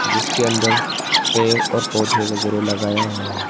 जिसके अंदर पेड़ और पौधे वगैरा लगाया हुआ है।